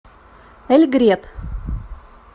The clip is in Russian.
эльгрет